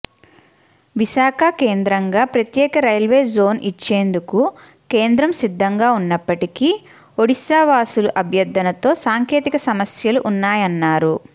విశాఖ కేంద్రంగా ప్రత్యేక రైల్వేజోన్ ఇచ్చేందుకు కేంద్రం సిద్ధంగా ఉన్నప్పటికీ ఒడిశావాసుల అభ్యర్థనతో సాంకేతిక సమస్యలు ఉన్నాయన్నారు